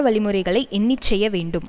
வழிமுறைகளை எண்ணி செய்ய வேண்டும்